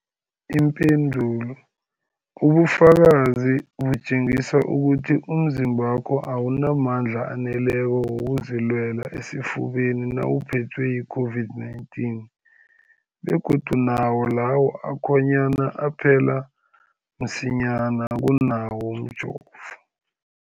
Ipendulo, ubufakazi butjengisa ukuthi umzimbakho awunamandla aneleko wokuzilwela esifeni nawuphethwe yi-COVID-19, begodu nawo lawo akhonyana aphela msinyana kunawomjovo.